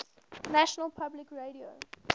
national public radio